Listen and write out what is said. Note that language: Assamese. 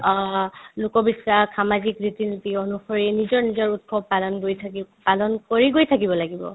অ, লোক বিশ্বাস সামাজিক ৰীতি-নীতি অনুসৰি নিজৰ নিজৰ উৎসৱ পালন কৰি থাকি পালন কৰি গৈ থাকিব লাগিব